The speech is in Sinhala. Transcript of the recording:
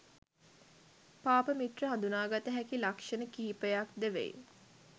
පාප මිත්‍රයා හඳුනාගත හැකි ලක්ෂණ කිහිපයක්ද වෙයි.